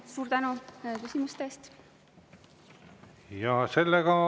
Suur tänu küsimuste eest!